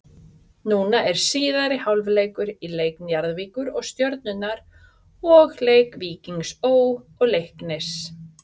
Núna er síðari hálfleikur í leik Njarðvíkur og Stjörnunnar og leik Víkings Ó. og Leiknis.